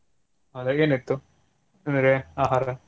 ಹೌದಾ ಏನಿತ್ತು ನಿಮ್ಗೆ ಆಹಾರ?